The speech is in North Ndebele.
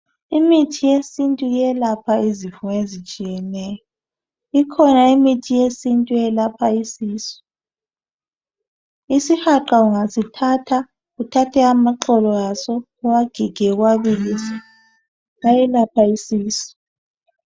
Imithi yesintu iyelapha izifo ezitshiyeneyo. Ikhona imithi yesintu eyelapha isisu. Isihaqa ungasithatha uthathe amaxolo aso, uwagige, uwabilise ayelapha isisu.